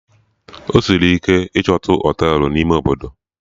Ọ sịrị ike ichotu Họtelụ n'ime Obodo